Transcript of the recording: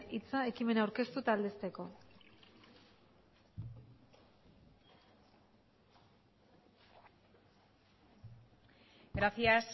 hitza ekimena aurkeztu eta aldezteko gracias